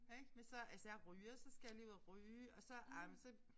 Ik men så altså jeg ryger så skal jeg lige ud og ryge og så ej men så